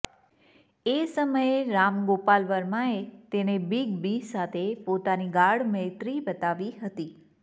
એ સમયે રામ ગોપાલ વર્માએ તેને બિગ બી સાથે પોતાની ગાઢ મૈત્રી બતાવી હતી